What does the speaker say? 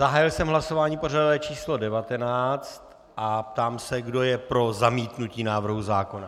Zahájil jsem hlasování pořadové číslo 19 a ptám se, kdo je pro zamítnutí návrhu zákona.